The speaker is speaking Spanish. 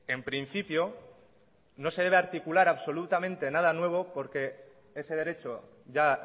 en principio no se debe articular absolutamente nada nuevo porque ese derecho ya